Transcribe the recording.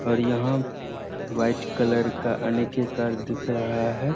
और यहाँ white colour का कार दिख रहा हैं।